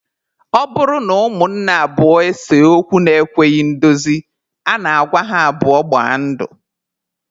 Ọ bụrụ na ụmụnne abụọ ese okwu na-ekweghị ndozi, a na-agwa ha abụọ gbaa ndụ.